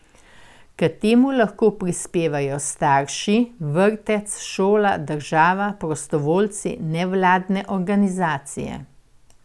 K temu lahko prispevajo starši, vrtec, šola, država, prostovoljci, nevladne organizacije.